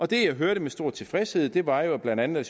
det jeg hørte med stor tilfredshed var jo at blandt andet